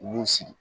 U y'u sigi